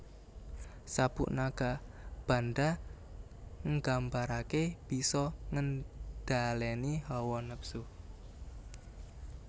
Sabuk Nagabanda nggambarake bisa ngendhaleni hawa nepsu